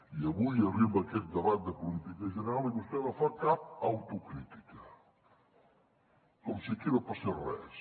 i avui arriba a aquest debat de política general i vostè no fa cap autocrítica com si aquí no passés res